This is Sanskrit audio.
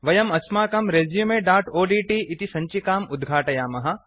वयम् अस्माकम् resumeओड्ट् इति सञ्चिकाम् उद्घाटयामः